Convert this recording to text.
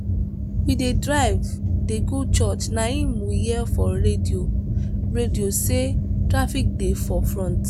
we dey drive dey go church na im we hear for radio radio say traffic dey for front.